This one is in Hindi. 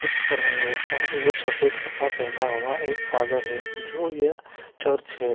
कुछ कर रहे है और वो सफ़ेद कपड़ा पहना हुआ एक फादर है जो यह चर्च हैं ।